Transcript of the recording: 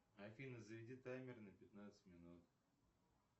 афина заведи таймер на пятнадцать минут